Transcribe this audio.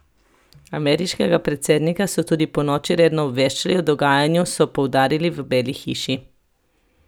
Ameriškega predsednika so tudi ponoči redno obveščali o dogajanju, so poudarili v Beli hiši.